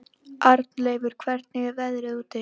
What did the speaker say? Arnleifur, hvernig er veðrið úti?